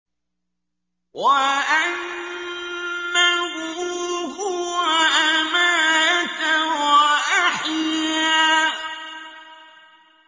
وَأَنَّهُ هُوَ أَمَاتَ وَأَحْيَا